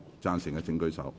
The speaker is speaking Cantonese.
贊成的請舉手。